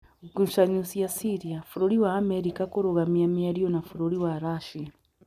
Ngucanio cia Syria: Bũrũri wa Amerika kũrũgamia mĩario na Bũrũri wa Russia